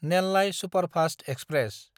Nellai superfast express